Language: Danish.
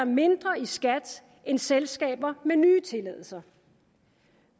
mindre i skat end selskaber med nye tilladelser